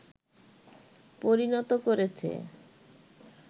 পরিণত করেছে